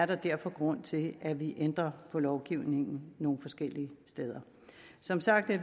der derfor er grund til at vi ændrer på lovgivningen nogle forskellige steder som sagt